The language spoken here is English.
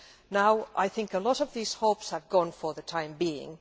I now think that a lot of those hopes have gone for the time being.